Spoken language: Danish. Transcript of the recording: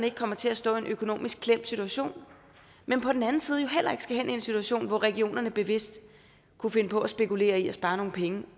ikke kommer til at stå i en økonomisk klemt situation men på den anden side jo heller ikke skal havne i en situation hvor regionerne bevidst kunne finde på at spekulere i at spare nogle penge